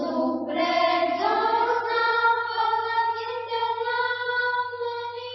ଶୁଭ୍ରଜ୍ୟୋତ୍ସ୍ନାପୁଲକିତଯାମିନିଂ